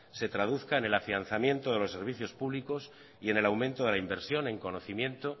se traduzcan en el afianzamiento de los servicios públicos y en el aumento de la inversión en conocimiento